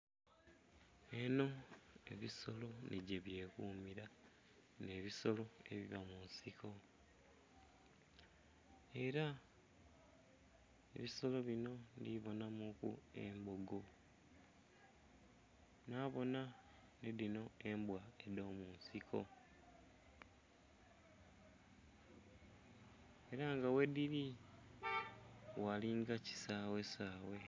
Eno ebisolo nhigyebyekumira bino ebisolo ebiba munsiko era ebisolo bino ndhibonamuku embogo, nhabona nhidhino embwa edhomunsiko era nga ghedhiri ghalinga ekisaghe saghe.